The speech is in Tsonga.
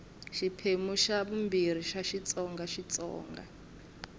xiphemu xa ii xitsonga xitsonga